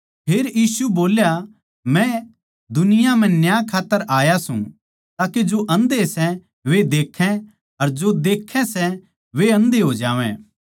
फेर यीशु बोल्या मै इस दुनिया म्ह न्याय खात्तर आया सूं ताके जो आन्धे सै वे देक्खै अर जो देक्खै सै वे आन्धे हो जावै